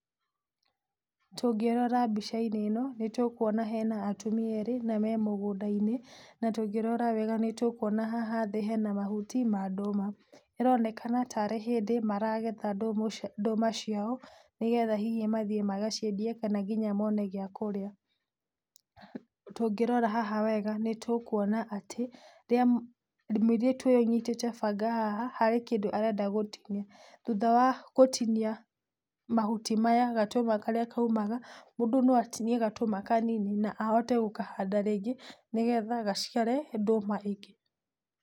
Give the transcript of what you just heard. Tũngĩrora mbicainĩ ĩno nĩtũkuona hena atumia erĩ na me mũgũndainĩ. Na tũngĩrora wega nĩtũkuona haha thĩ hena mahuti ma ndũma. ĩronekana ta arĩ hĩndĩ maragetha ndũma ciao, nĩgetha hihi mathiĩ magaciendie kana nginya mone kĩndũ gĩa kũrĩa. Tũngĩrora haha wega nĩtũkuona atĩ mũirĩtu ũyũ ũnyitĩte banga haha, harĩ kĩndũ arenda gũtinia. Thutha wa gũtinia mahuti maya, gatũma karĩa kaumaga mũndũ no atinie gatũma kanini, na ahote gũkahanda rĩngĩ nĩgetha gaciare ndũma ingĩ.